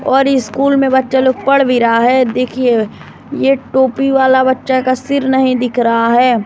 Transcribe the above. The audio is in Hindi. और स्कूल में बच्चा लोग पढ़ भी रहा है देखिए ये टोपी वाला बच्चा का सिर नहीं दिख रहा है।